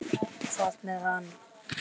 Hvað með hann?